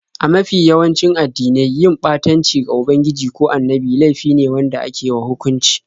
A mafi yawanci addinai, yin ɓatanci ga ubangiji ko annabi laifi ne wanda ake wa hukunci.